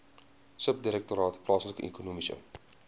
subdirektoraat plaaslike ekonomiese